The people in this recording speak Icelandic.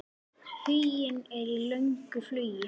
Huginn er í löngu flugi.